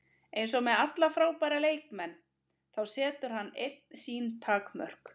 Eins og með alla frábæra leikmenn, þá setur hann einn sín takmörk.